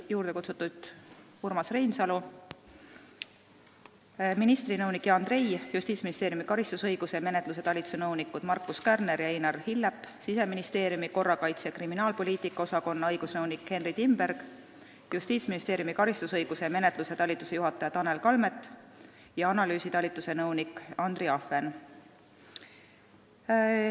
Kutsutud olid Urmas Reinsalu, ministri nõunik Jan Trei, Justiitsministeeriumi karistusõiguse ja menetluse talituse nõunikud Markus Kärner ja Einar Hillep, Siseministeeriumi korrakaitse- ja kriminaalpoliitika osakonna õigusnõunik Henry Timberg ning Justiitsministeeriumi karistusõiguse ja menetluse talituse juhataja Tanel Kalmet ja analüüsitalituse nõunik Andri Ahven.